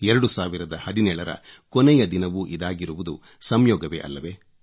2017 ರ ಕೊನೆಯ ದಿನವೂ ಇದಾಗಿರುವುದು ಸಂಯೋಗವೇ ಅಲ್ಲವೇ